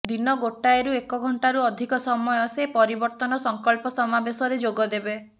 ଦିନ ଗୋଟାଏରୁ ଏକ ଘଣ୍ଟାରୁ ଅଧିକ ସମୟ ସେ ପରିବର୍ତନ ସଂକଳ୍ପ ସମାବେଶରେ ଯୋଗ ଦେବେ